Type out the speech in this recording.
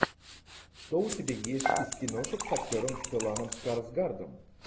что у тебя есть из киношек с актером стелланом скарсгардом